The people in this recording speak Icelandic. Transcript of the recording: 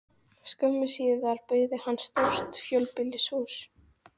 Skömmu síðar byggði hann stórt fjölbýlishús.